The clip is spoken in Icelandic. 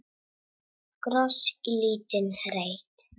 Kross í lítinn reit.